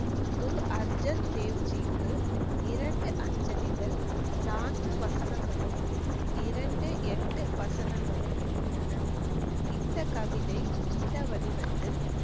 குரு அர்ஜுன் தேவ் ஜிக்கு இரண்டு அஞ்சலிகள், நான்கு வசனங்களும், இரண்டு, எட்டு வசனங்களும் உள்ளன. இந்த கவிதை இந்த வடிவத்தில்